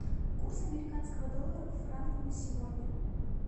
курс американского доллара к франку на сегодня